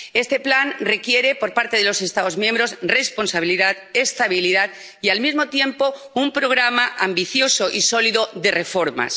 Este plan requiere por parte de los Estados miembros responsabilidad, estabilidad y, al mismo tiempo, un programa ambicioso y sólido de reformas.